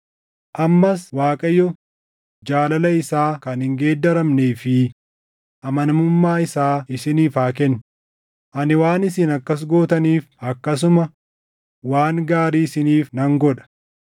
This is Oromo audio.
Ammas Waaqayyo jaalala isaa kan hin geeddaramnee fi amanamummaa isaa isiniif haa kennu; ani waan isin akkas gootaniif akkasuma waan gaarii isiniif nan godha.